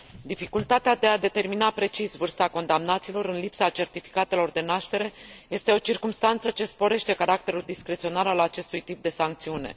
Dificultatea de a determina precis vârsta condamnaților în lipsa certificatelor de naștere este o circumstanță ce sporește caracterul discreționar al acestui tip de sancțiune.